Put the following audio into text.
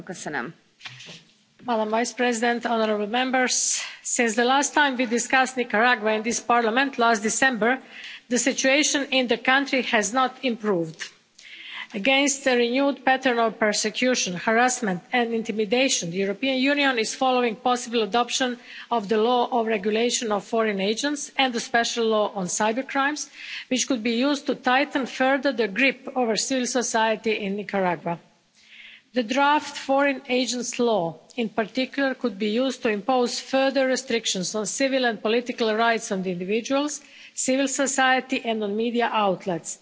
Madam President, honourable Members, since the last time we discussed Nicaragua in this Parliament last December, the situation in the country has not improved. Against the renewed pattern of persecution, harassment and intimidation, the European Union is following the possible adoption of the Law on Regulation of Foreign Agents and the Special Law on Cybercrimes, which could be used to tighten further the grip over civil society in Nicaragua. The draft foreign agents law in particular could be used to impose further restrictions on civil and political rights of individuals, civil society and on media outlets.